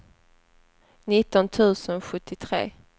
nitton tusen sjuttiotre